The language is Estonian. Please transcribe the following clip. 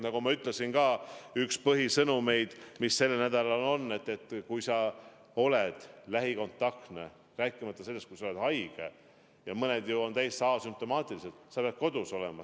Nagu ma ütlesin ka, üks põhisõnumeid, mis sellel nädalal on: kui sa oled lähikontaktne, rääkimata sellest, kui sa oled haige või nakatunud, aga täiesti asümptomaatiline, sa pead kodus olema.